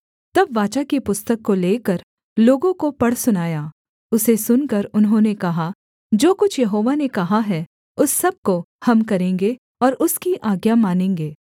तब वाचा की पुस्तक को लेकर लोगों को पढ़ सुनाया उसे सुनकर उन्होंने कहा जो कुछ यहोवा ने कहा है उस सब को हम करेंगे और उसकी आज्ञा मानेंगे